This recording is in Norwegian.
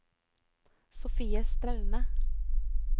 Sofie Straume